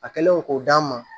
A kɛlen ko d'an ma